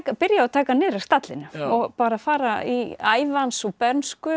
byrja á að taka hann niður af stallinum og bara fara í ævi hans og bernsku